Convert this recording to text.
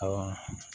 Awɔ